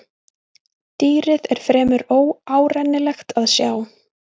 Dýrið er fremur óárennilegt að sjá.